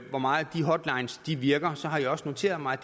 hvor meget de hotlines virker har jeg også noteret mig